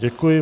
Děkuji.